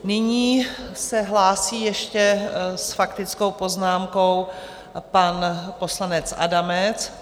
Nyní se hlásí ještě s faktickou poznámkou pan poslanec Adamec.